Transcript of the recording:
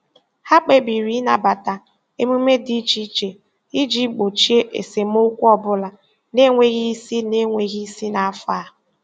Ha kpebiri ịnabata emume dị iche iche iji gbochie esemokwu ọ bụla na-enweghị isi na-enweghị isi n'afọ a.